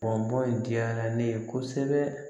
Kɔn bɔn in diyara ne ye kosɛbɛ